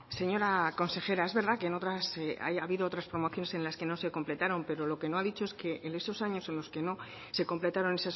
señora consejera es verdad que ha habido otras promociones en las que no se completaron pero lo que no ha dicho es que en esos años en los que no se completaron